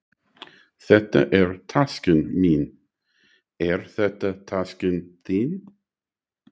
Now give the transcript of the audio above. Þetta er taskan mín. Er þetta taskan þín?